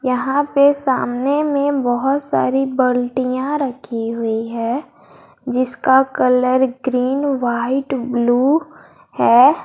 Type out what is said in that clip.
यहां पे सामने में बहुत सारी बाल्टिया रखी हुई है जिसका कलर ग्रीन व्हाइट ब्लू है।